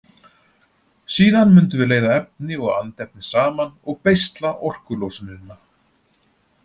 Síðan mundum við leiða efni og andefni saman og beisla orkulosunina.